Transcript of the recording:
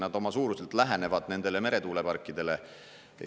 Nad oma suuruselt lähenevad nendele meretuuleparkidele.